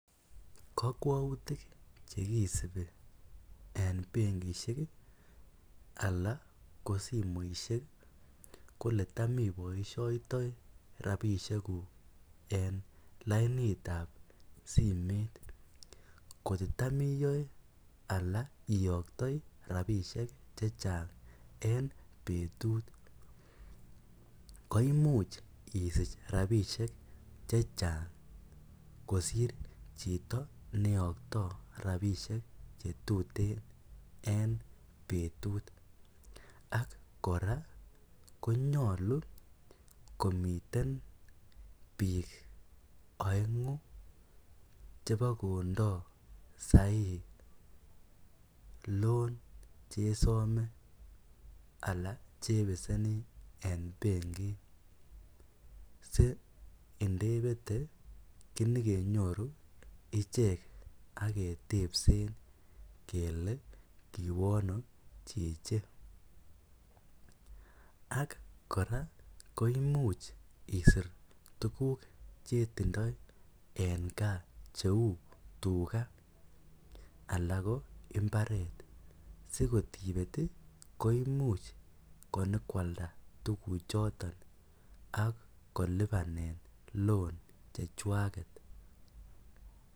Kakwautiik che kisubii en benkishek ii anan ko simoisiek ko ole taam I oboishaitoi rapisheek guug en simeet koot ii tam iyae alaak iyaktoi rapisheek che chaang en betut koimuuch isiich rapisheek che chaang kosiir chitoo neyaktoi rapisheek che tuteen eng betut ak kora konyaluu komiteen biik aenguu chebo kondaa Sahi ii [loan] che besenii eng benkiit sii ndebete kiin kenyooru icheek ak ketebseen kele kowaa ano chichi ak kora koimuuch isiir tuguuk che tindoi en gaah che uu tugaah alaak ko mbaret siko tibeet ii koimuuch inyokoaldaa tuguuk chotoon ak ko lupaneen loan che chwaaket.